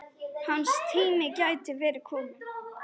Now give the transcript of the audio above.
Hans tími gæti verið kominn.